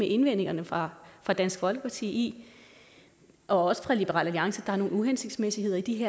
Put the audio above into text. indvendingerne fra dansk folkeparti og også liberal alliance er nogle uhensigtsmæssigheder i de